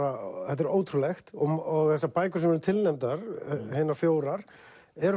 þetta er ótrúlegt og þessar bækur sem eru tilnefndar hinar fjórar eru